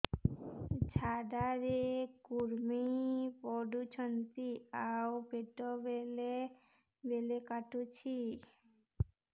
ଝାଡା ରେ କୁର୍ମି ପଡୁଛନ୍ତି ଆଉ ପେଟ ବେଳେ ବେଳେ କାଟୁଛି